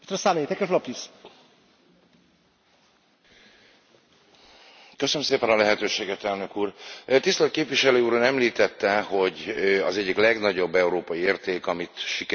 Tisztelt képviselő úr! Ön említette, hogy az egyik legnagyobb európai érték, amit sikerült ráadásul szélesebb körben is elfogadtatnunk, ez a halálbüntetésnek az eltörlése, és valóban én is így gondolom.